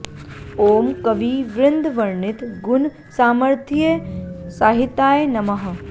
ॐ कवि वृन्द वर्णित गुण सामर्थ्य सहिताय नमः